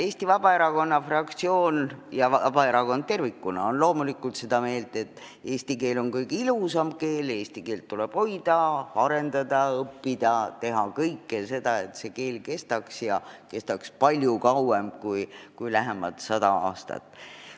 Eesti Vabaerakonna fraktsioon ja Vabaerakond tervikuna on loomulikult seda meelt, et eesti keel on kõige ilusam keel, eesti keelt tuleb hoida, arendada, õppida, teha kõike seda, et see keel kestaks ja kestaks palju kauem kui lähemad sada aastat.